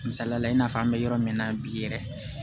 Misaliyala i n'a fɔ an bɛ yɔrɔ min na bi yɛrɛ